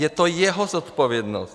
Je to jeho zodpovědnost.